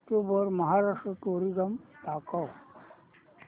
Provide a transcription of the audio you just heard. YouTube वर Maharashtra tourism दाखव